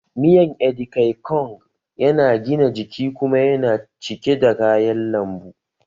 Miyan Edikaikong na gina jiki kuma yana cike da kayan lambu